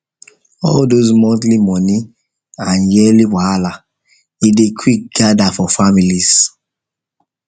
all those monthly money and yearly wahala e dey quick gather for families